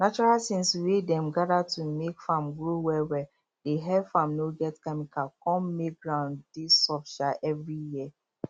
natural things wey dem gather to make farm grow well well dey help farm no get chemical con make ground dey soft um every year